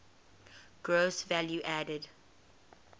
gross value added